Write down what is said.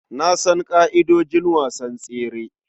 Na san ƙa'idojin wasan tsere.